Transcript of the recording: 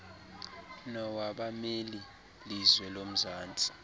nowabameli lizwe womzantsi